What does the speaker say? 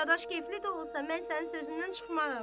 Qardaş, kefli də olsam, mən sənin sözündən çıxmaram.